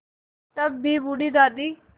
तब भी बूढ़ी दादी